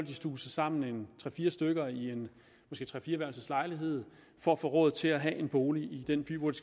stuve sig sammen tre fire stykker i en måske tre fire værelses lejlighed for at få råd til at have en bolig i den by hvor de